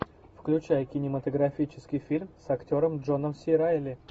включай кинематографический фильм с актером джоном си райли